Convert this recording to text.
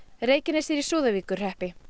Reykjanes er í Súðavíkurhreppi